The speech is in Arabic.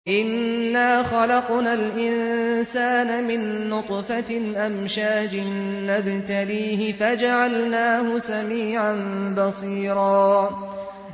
إِنَّا خَلَقْنَا الْإِنسَانَ مِن نُّطْفَةٍ أَمْشَاجٍ نَّبْتَلِيهِ فَجَعَلْنَاهُ سَمِيعًا بَصِيرًا